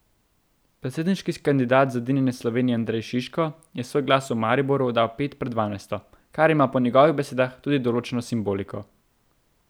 Predsedniški kandidat Zedinjene Slovenije Andrej Šiško je svoj glas v Mariboru oddal pet pred dvanajsto, kar ima po njegovih besedah tudi določeno simboliko.